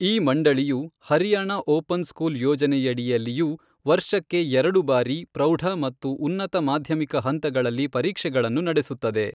ಈ ಮಂಡಳಿಯು Haryana open school ಯೋಜನೆಯಡಿಯಲ್ಲಿಯೂ ವರ್ಷಕ್ಕೆ ಎರಡು ಬಾರಿ ಪ್ರೌಢ ಮತ್ತು ಉನ್ನತ ಮಾಧ್ಯಮಿಕ ಹಂತಗಳಲ್ಲಿ ಪರೀಕ್ಷೆಗಳನ್ನು ನಡೆಸುತ್ತದೆ.